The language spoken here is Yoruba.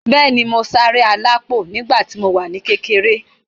Bẹ́ẹ̀ni, mo sárá alápò nígbà tí mo wà ní kékeré.